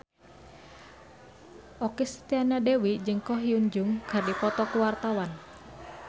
Okky Setiana Dewi jeung Ko Hyun Jung keur dipoto ku wartawan